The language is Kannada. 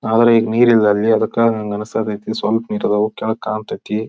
ಅವ್ರಿಗ್ ನೀರಿಲ್ಲ ಅಲ್ಲಿ ಅದಕ್ಕ ಅನ್ಸಾಕತೈತಿ. ಸ್ವಲ್ಪ ನೀರ್ ಅದಾವ. ಕೆಳಗ್ ಕಾಂತೈತಿ.